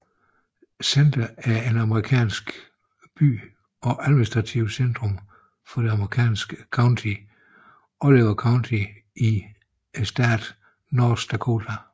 Center er en amerikansk by og administrativt centrum for det amerikanske county Oliver County i staten North Dakota